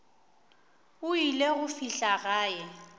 o ile go fihla gae